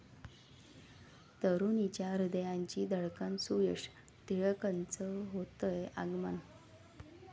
तरुणींच्या हृदयाची धडकन सुयश टिळकचं होतंय आगमन